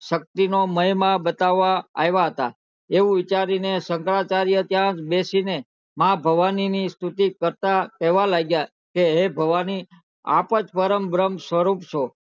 શક્તિ નો મહિમા બતાવવા આવ્યા હતા એવું વિચારીને શંકરાચાર્ય ત્યાં જ બેસીને માં ભવાની ની સ્તુતિ કરતા કેહવા લાગ્યા કે હે ભવાની આપજ પરમ બ્રહ્મસવરૂપ છો